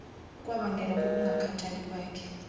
kwabangelwa kukungakhathali kwakhe